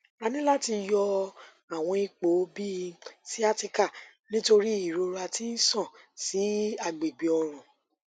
a ni lati yọ awọn ipo bi sciatica nitori irora ti n ṣan si agbegbe ọrùn